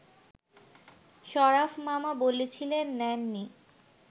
শরাফ মামা বলেছিলেন নেননি